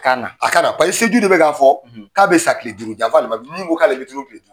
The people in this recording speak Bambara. Ka na, a ka na paseke seju do bɛ k'a fɔ, , k'a bɛ sa tile duuru, janfa alimami min ko k'ale bɛ